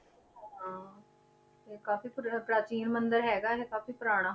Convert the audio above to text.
ਹਾਂ ਤੇ ਕਾਫ਼ੀ ਪਰ~ ਪ੍ਰਾਚੀਨ ਮੰਦਿਰ ਹੈਗਾ ਇਹ ਕਾਫ਼ੀ ਪੁਰਾਣਾ